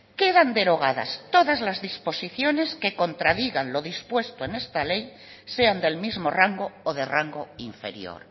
quedan derogadas todas las disposiciones que contradigan lo dispuesto en esta ley sean del mismo rango o de rango inferior